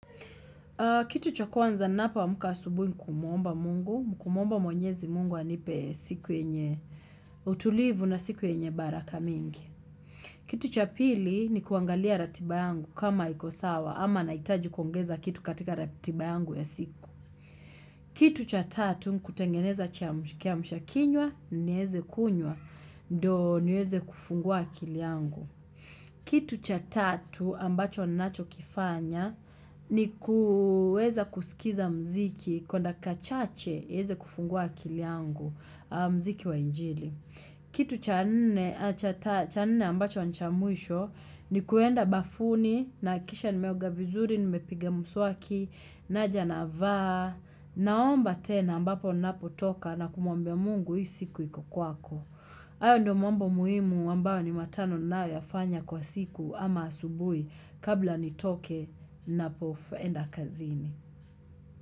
Kitu cha kwanza ninapoamka asubuhi ni kumwomba mungu, kumwomba mwenyezi mungu anipe siku yenye utulivu na siku yenye baraka mingi. Kitu cha pili ni kuangalia ratiba yangu kama iko sawa ama nahitaji kuongeza kitu katika ratiba yangu ya siku. Kitu cha tatu ni kutengeneza kiamsha kinywa niweze kunywa ndo niweze kufungua akili yangu. Kitu cha tatu ambacho ninachokifanya ni kuweza kusikiza mziki kwa dakika chache iweze kufungua akili yangu mziki wa njili. Kitu cha nne ambacho ni cha mwisho ni kuenda bafuni na kisha nimeoga vizuri, nimepiga mswaki, naja navaa, naomba tena ambapo ninapotoka na kumwambia mungu hii siku iko kulwako. Hayo ndo mambo muhimu ambayo ni matano ninayoyafanya kwa siku ama asubuhi kabla nitoke ninapoenda kazini.